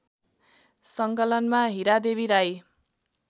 सङ्कलनमा Hiradevi Rai